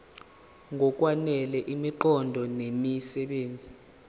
ngokwanele imiqondo nemisebenzi